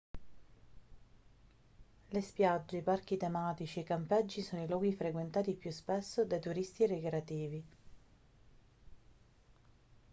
le spiagge i parchi tematici e i campeggi sono i luoghi frequentati più spesso dai turisti ricreativi